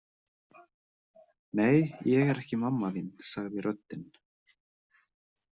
Nei, ég er ekki mamma þín sagði röddin.